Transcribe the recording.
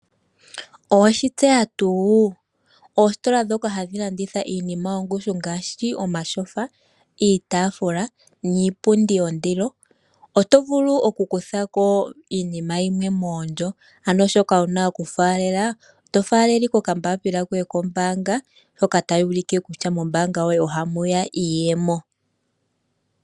Oweshi tseya tuu? Oositola ndhoka hadhi landitha iinima yongushu ngaashi omatyofa, iitaafula niipundi yondilo otovulu okukutha ko iinima yimwe moondjo. Ano shoka wuna okufaalela to faalele ashike okakalata koye kombaanga hoka taku ulike kutya mombaanga yoye ohamu ya iiyemo.